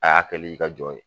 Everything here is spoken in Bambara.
A y'a kɛl'i ka jɔn ye.